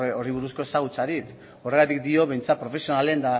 horri buruzko ezagutzarik horregatik diot behintzat profesionalen